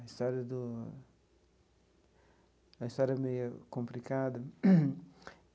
A história do a história é meia complicada.